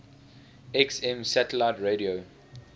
xm satellite radio